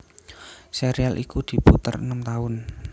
Serial iku diputer enem taun